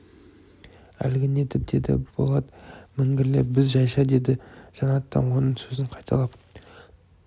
әлгі нетіп деді болат міңгірлеп біз жайша деді жанат та оның сөзін қайталап